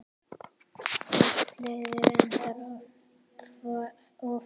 Hvort liðið endar ofar?